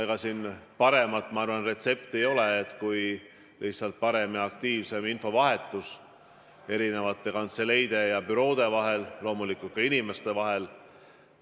Ega siin muud retsepti ei ole, kui et lihtsalt parem ja aktiivsem infovahetus peab olema eri kantseleide ja büroode vahel, loomulikult ka inimeste vahel.